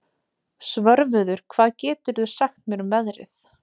Svörfuður, hvað geturðu sagt mér um veðrið?